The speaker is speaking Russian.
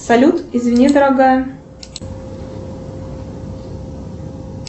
салют извини дорогая